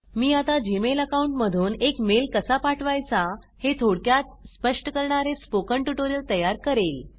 मी आता gmailअकाउंट मधून एक मेल कसा पाठवायचा हे थोडक्यात स्पष्ट करणारे स्पोकन ट्यूटोरियल तयार करेल